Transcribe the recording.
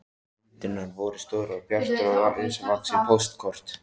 Myndirnar voru stórar og bjartar, risavaxin póstkort.